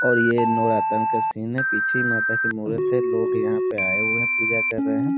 और ये नवरात्रा का सीन है पीछे माँ का मूर्त है लोग आये हुए हैं पूजा कर रहे हैं।